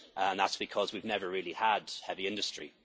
That's because we have never really had heavy industry.